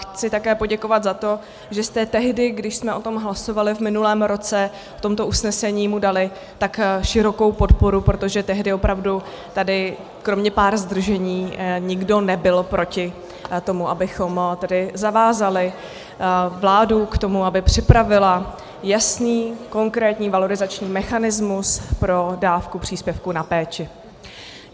Chci také poděkovat za to, že jste tehdy, když jsme o tom hlasovali v minulém roce, v tomto usnesení mu dali tak širokou podporu, protože tehdy opravdu tady kromě pár zdržení nikdo nebyl proti tomu, abychom tedy zavázali vládu k tomu, aby připravila jasný, konkrétní valorizační mechanismus pro dávku příspěvku na péči.